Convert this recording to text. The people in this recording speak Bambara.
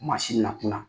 Maa si na kunna